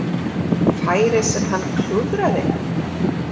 Færið sem hann klúðraði?